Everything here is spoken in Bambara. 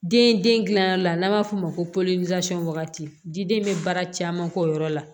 Den den gilanyɔrɔ la n'an b'a f'o ma ko wagati jiden bɛ baara caman k'o yɔrɔ la